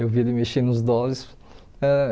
Eu vi ele mexendo nos dólares ãh.